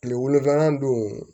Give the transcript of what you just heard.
Kile wolonfila dun